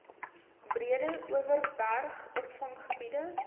breede overberg opvanggebied